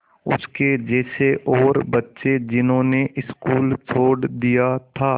उसके जैसे और बच्चे जिन्होंने स्कूल छोड़ दिया था